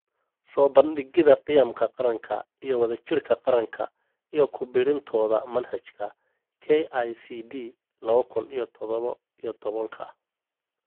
Soo bandhigida qiyamka qaranka iyo wadajirka qaranka iyo ku biirintooda manhajka (KICD lawa kun iyo tadhawo iyo tobanka).